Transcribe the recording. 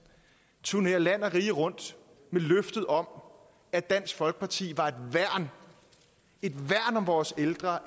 turnere land og rige rundt med løftet om at dansk folkeparti var et værn et værn om vores ældre